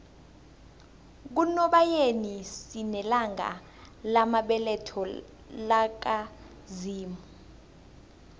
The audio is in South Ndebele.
kunobayeni sinelanga lamabeletho laka zimu